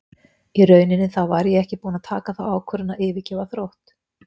Í rauninni þá var ég ekki búinn að taka þá ákvörðun að yfirgefa Þrótt.